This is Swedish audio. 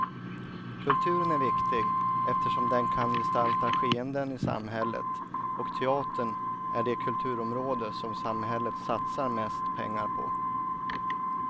Kulturen är viktig eftersom den kan gestalta skeenden i samhället, och teatern är det kulturområde som samhället satsar mest pengar på.